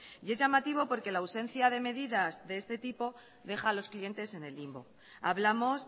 y es llamativo porque la ausencia de medidas de este tipo deja a los clientes en el limbo hablamos